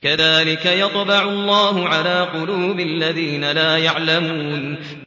كَذَٰلِكَ يَطْبَعُ اللَّهُ عَلَىٰ قُلُوبِ الَّذِينَ لَا يَعْلَمُونَ